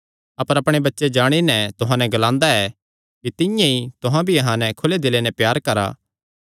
अपर अपणे बच्चे जाणी नैं तुहां नैं ग्लांदा ऐ कि तिंआं ई तुहां भी अहां नैं खुले दिले नैं प्यार करा